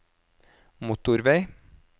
motorvei